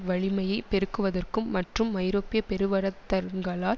வலிமையை பெருக்குவதற்கும் மற்றும் ஐரோப்பிய பெருவரத்தங்களால்